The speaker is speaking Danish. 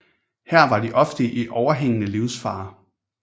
Her var de ofte i overhængende livsfare